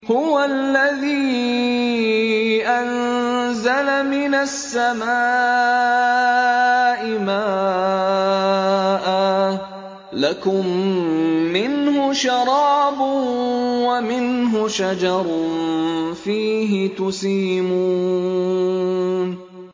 هُوَ الَّذِي أَنزَلَ مِنَ السَّمَاءِ مَاءً ۖ لَّكُم مِّنْهُ شَرَابٌ وَمِنْهُ شَجَرٌ فِيهِ تُسِيمُونَ